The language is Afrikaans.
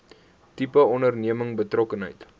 tipe onderneming betrokkenheid